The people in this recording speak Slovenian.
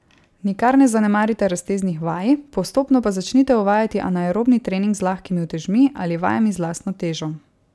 Nikar ne zanemarite razteznih vaj, postopno pa začnite uvajati anaerobni trening z lahkimi utežmi ali vajami z lastno težo.